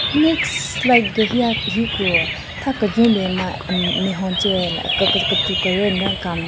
Next slide gu hiya hiku tha kejwen bin ma nme hon che ke ke kechu keryü nden kan --